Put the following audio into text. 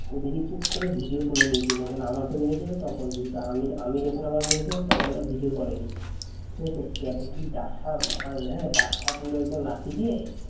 অমনি চুপ করে video করে নিয়েছিল যখন আমাকে বলেছিল তখন কিন্তু আমি আমি যখন আওয়াজ নিয়ে ছিলাম তখন video করেনি ঠিক আছে? সে একেবারে কি ডাসা মাল হ্যাঁ ডাসা পুরো একদম লাঠি দিয়ে